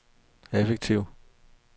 effektiv